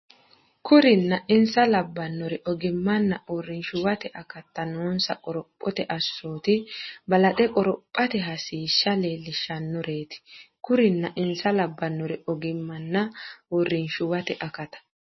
Kurinna insa labbinori ogimmanna uurrinshuwate akatta noonsa qorophote assoti balaxe qoro- phate hasiishsha leellishshannoreeti Kurinna insa labbinori ogimmanna uurrinshuwate akatta.